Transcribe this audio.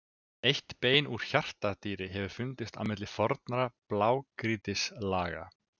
Eitt bein úr hjartardýri hefur fundist milli fornra blágrýtislaga.